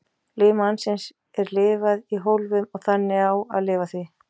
Lífi mannsins er lifað í hólfum og þannig á að lifa því.